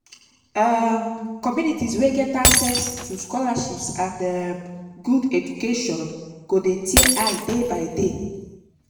um communities wey get access um to scholarships and um good education go de tear eye day by day